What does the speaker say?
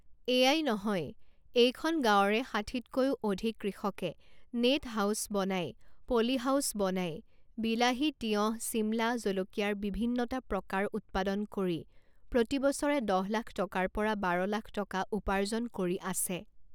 এয়াই নহয়, এইখন গাঁৱৰে ষাঠিতকৈও অধিক কৃষকে নেট হাউচ বনাই, পলী হাউচ বনাই বিলাহী, তিয়ঁহ, ছিমলা জলকীয়াৰ বিভিন্নটা প্ৰকাৰ উৎপাদন কৰি প্ৰতি বছৰে দহ লাখ টকাৰ পৰা বাৰ লাখ টকা উপাৰ্জন কৰি আছে।